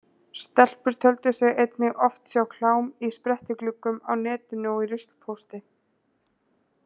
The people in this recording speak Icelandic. Stelpur töldu sig einnig oft sjá klám í sprettigluggum á netinu og í ruslpósti.